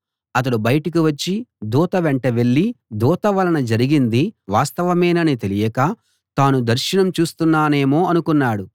అతడు బయటికి వచ్చి దూత వెంట వెళ్ళి దూత వలన జరిగింది వాస్తవమేనని తెలియక తాను దర్శనం చూస్తున్నానేమో అనుకున్నాడు